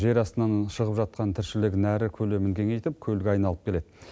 жер астынан шығып жатқан тіршілік нәрі көлемін кеңейтіп көлге айналып келеді